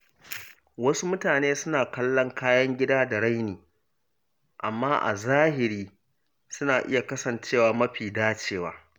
Wasu mutane suna kallon kayan gida da raini, amma a zahiri suna iya kasancewa mafi dacewa.